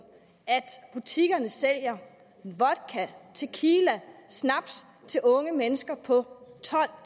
at butikkerne sælger vodka tequila og snaps til unge mennesker på tolv og